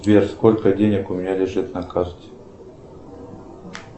сбер сколько денег у меня лежит на карте